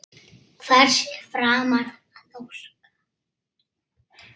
Setjið í kökumót og kælið.